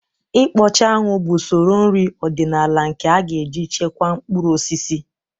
Ịkpọcha anwụ bụ usoro nri ọdịnala nke a ga-eji chekwaa mkpụrụ osisi